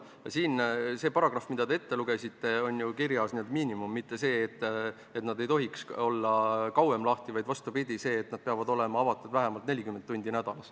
Selles paragrahvis, mille te ette lugesite, on kirjas ju miinimum – mitte see, et apteegid ei tohi olla kauem lahti, vaid see, et nad peavad olema avatud vähemalt 40 tundi nädalas.